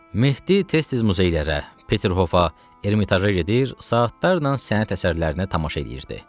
Mehdi tez-tez muzeylərə, Peterhofa, Ermitaja gedir, saatlarla sənət əsərlərinə tamaşa eləyirdi.